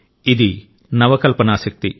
ఇది నవ కల్పన శక్తి